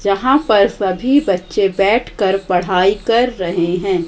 जहां पर सभी बच्चे बैठकर पढ़ाई कर रहे हैं।